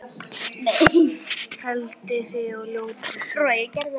Felldi þig á ljótri sögu.